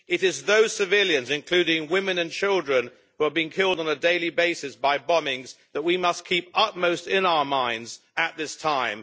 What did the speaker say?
It is those civilian, including women and children, who are being killed on a daily basis by bombings, that we must keep upmost in our minds at this time.